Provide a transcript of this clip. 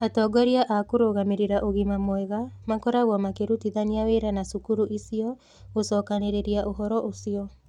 Atongoria a kũrũgamĩrĩra ũgima mwega makoragwo makĩrutithania wĩra na cukuru icio gũcokanĩrĩria ũhoro ũcio.